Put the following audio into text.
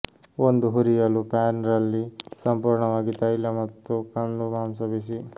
ಒಂದು ಹುರಿಯಲು ಪ್ಯಾನ್ ರಲ್ಲಿ ಸಂಪೂರ್ಣವಾಗಿ ತೈಲ ಮತ್ತು ಕಂದು ಮಾಂಸ ಬಿಸಿ